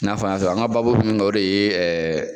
I n'a fɔ an y'a sɔrɔ an ka baabu be min kan o de ye ɛɛ